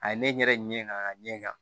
A ye ne ɲɛ ŋaa a ŋa ɲɛ kan